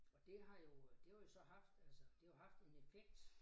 Og det har jo øh det har jo så haft altså det har jo haft en effekt